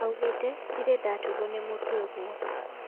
Augete ,"Ndirĩ ndaturwo nĩ mũtwe ũguo"